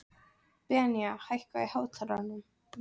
Benía, hækkaðu í hátalaranum.